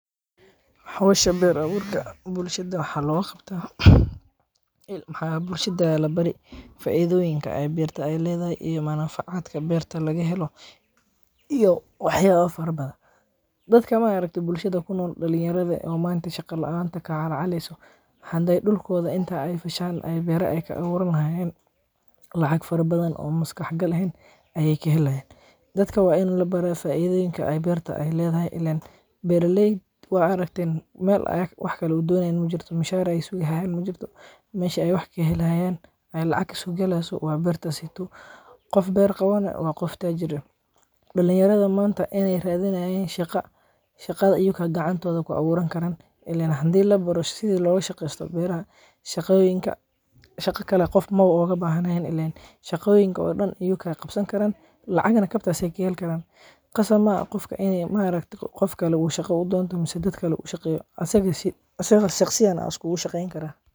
Hawsha beer awurka. Bullshad waxa lagu qabta ilm. Ha buushida la barii, faaiidooyinka ay beerta ay leedahay iyo maanaaf caadka beerta laga helo iyo waxyaba farbada. Dadka maareegta bulshada kuna noqon dhulun yarada oo maanta shaqo la'aanta ka caraceysan ah. Handay dhul kooda inta ay fashaan ay beera ay ka waran haysan lacag farbadan oo maskax gal ahayn ayay kiilahay. Dadka wayn la baraa faa'iideynka ay beerta ay leedahay. Illen beera leeyahay waa raaktin meel ayag wax kale uu doonayn mujjato mushahara isugu hayayn mujjato meeshu ay wax keelayaan. Ay lacag isu gelaayso waa beerta sii tu. Qof beer qabanaya waa qof taajira. Dhulanyarada maanta inay raadinayaan shaqa shaqada iyuu ka gacantooda ku awooran karayr illen handeen la baro. Sidii loogu shaqeysto beera shaqooyinka. Shaqa kale qof mawo oo ga bahaynayn illen shaqooyinka oo dhan iyuu ka qabsan karaan. Lacagna kabta si ay kiil karan. Qofka ma qufka inay maragto qof kale uu shaqo u doonto, musu dad kale uu shaqeeyo. Aasaas si aasaasi saqsiyana askuu u shaqeeyaan kara.